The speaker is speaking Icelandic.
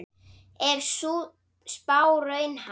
Er sú spá raunhæf?